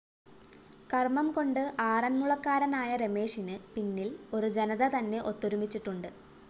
കര്‍മ്മംകൊണ്ട് ആറന്മുളക്കാരനായ രമേശിന് പിന്നില്‍ ഒരു ജനതതന്നെ ഒത്തൊരുമിച്ചുണ്ട്